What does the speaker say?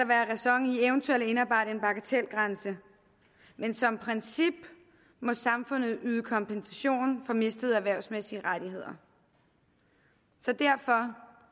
være ræson i eventuelt at indarbejde en bagatelgrænse men som princip må samfundet yde kompensation for mistede erhvervsmæssige rettigheder så derfor